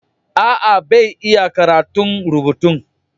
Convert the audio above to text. Aa, bai iya karatun rubutun